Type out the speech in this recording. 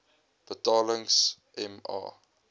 betalings m a